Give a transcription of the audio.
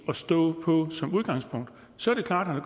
at stå på som udgangspunkt så er det klart at